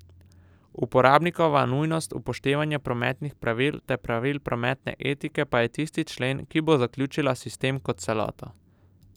Uporabnikova nujnost upoštevanja prometnih pravil ter pravil prometne etike pa je tisti člen, ki bo zaključila sistem kot celoto.